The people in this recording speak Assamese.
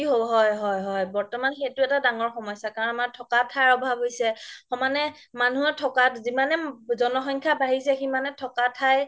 হয় হয় হয় বৰ্তমান সেইটো এটা ডাঙৰ সমস্যা কাৰণ আমাৰ থকা ঠাই আভাৱ হৈছে সমানে মানুহৰ ঠাকা যিমানে জনসংখ্যা বাঢ়িছে সিমানে ঠাকা ঠাই